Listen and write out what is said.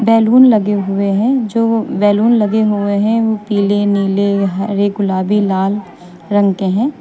Balloon लगे हुए हैं जो बैलून लगे हुए हैं वो पीले नीले हरे गुलाबी लाल रंग के हैं।